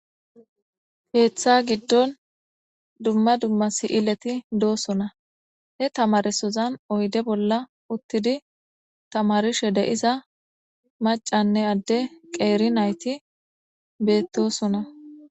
keeththa giddon dumma dumma si7ileti doosona he tamaresozan oyde bolla uttidi tamarishe de7iza macanne adde qeeri nayti bedosona